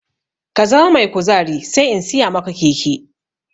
Ka zama mai kuzari sai in siya maka keke!